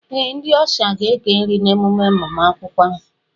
Ee, ndị ọsha ga-eke nri n'emume agbamakwụkwọ